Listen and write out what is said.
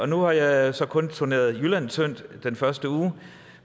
nu har jeg så kun turneret jylland tyndt den første uge